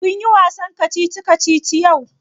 Kun yi wasan kacici kacici yau?